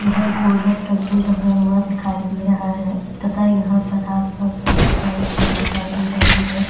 यह गोल्डन रंग में रंगा हुआ दिखाई दे रहा है तथा यहाँ पर आस पास काफी सारे पेड़ दिखाई दे रहे हैं।